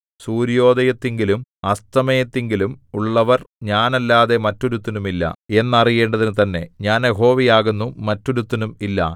സൂര്യോദയത്തിങ്കലും അസ്തമയത്തിങ്കലും ഉള്ളവർ ഞാനല്ലാതെ മറ്റൊരുത്തനും ഇല്ല എന്നറിയേണ്ടതിനു തന്നെ ഞാൻ യഹോവയാകുന്നു മറ്റൊരുത്തനും ഇല്ല